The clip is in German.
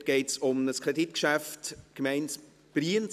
Dort geht es um ein Kreditgeschäft, Gemeinde Brienz.